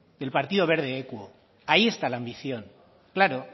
del partido verde equo ahí está la ambición claro